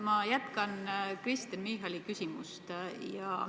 Ma jätkan Kristen Michali küsimust.